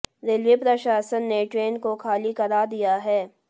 railway प्रशासन ने train को खाली करा दिया है